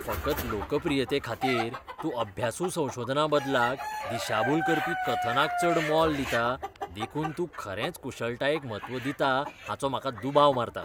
फकत लोकप्रियतेखातीर तूं अभ्यासू संशाधना बदलाक दिशाभूल करपी कथनाक चड मोल दिता देखून तूं खरेच कुशळटायेक म्हत्व दिता हाचो म्हाका दुबाव मारता.